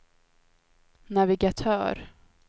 navigatör